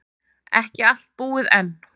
Ekki allt búið enn.